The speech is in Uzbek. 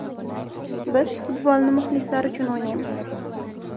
Biz futbolni muxlislar uchun o‘ynaymiz.